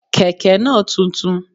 Kẹ̀ké náà tuntun